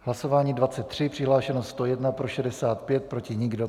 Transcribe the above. Hlasování 23, přihlášeno 101, pro 65, proti nikdo .